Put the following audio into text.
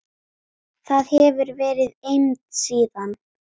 Þar hefur verið eymd síðan.